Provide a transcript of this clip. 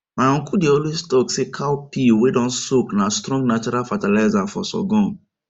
my uncle dey always talk say cow pee wey don soak na strong natural fertilizer for sorghum